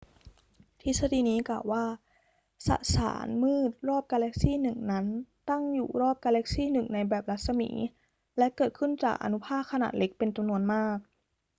ทฤษฎีนี้กล่าวว่า สสารมืดรอบกาแล็กซี่หนึ่งนั้นตั้งอยู่รอบกาแล็กซี่หนึ่งในแบบรัศมี และเกิดขึ้นจากอนุภาคขนาดเล็กเป็นจำนวนมาก